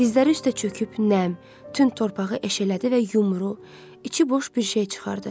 Dizləri üstə çöküb nəm, tünd torpağı eşələdi və yumru, içi boş bir şey çıxartdı.